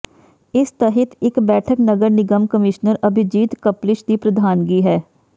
ਇਸ ਤਹਿਤ ਇਕ ਬੈਠਕ ਨਗਰ ਨਿਗਮ ਕਮਿਸ਼ਨਰ ਅਭੀਜੀਤ ਕਪਲਿਸ਼ ਦੀ ਪ੍ਰਧਾਨਗੀ ਹੇ